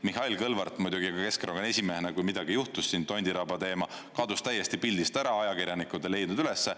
Mihhail Kõlvart muidugi ka Keskerakonna esimehena, kui midagi juhtus siin – Tondiraba teema–, kadus täiesti pildist ära, ajakirjanikud ei leidnud ülesse.